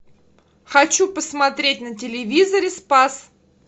хочу посмотреть на телевизоре спас